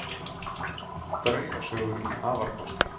Draugasögur um afarkosti